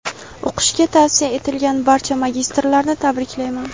O‘qishga tavsiya etilgan barcha magistrlarni tabriklayman.